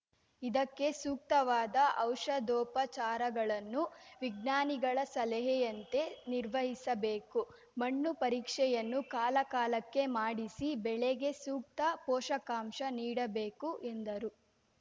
ಇದಕ್ಕೆ ಸೂಕ್ತವಾದ ಔಷಧೋಪಚಾರಗಳನ್ನು ವಿಜ್ಞಾನಿಗಳ ಸಲಹೆಯಂತೆ ನಿರ್ವಹಿಸಬೇಕು ಮಣ್ಣು ಪರೀಕ್ಷೆಯನ್ನು ಕಾಲಕಾಲಕ್ಕೆ ಮಾಡಿಸಿ ಬೆಳೆಗೆ ಸೂಕ್ತ ಪೋಷಕಾಂಶ ನೀಡಬೇಕು ಎಂದರು